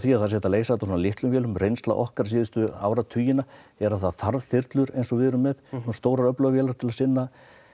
að það sé hægt að leysa þetta á svo litlum vélum reynsla okkar síðustu áratugina er að það þarf þyrlur eins og við erum með svona stórar og öflugar vélar til að sinna